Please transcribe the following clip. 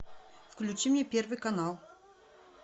включи мне первый канал